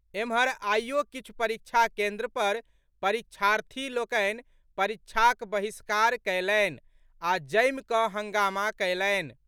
एम्हर, आइयो किछु परीक्षा केन्द्र पर परीक्षार्थी लोकनि परीक्षाक बहिष्कार कयलनि आ जमि कऽ हंगामा कयलनि।